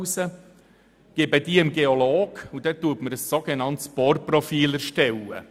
Diese Probe gebe ich an den Geologen weiter, der mir ein sogenanntes Bohrprofil erstellt.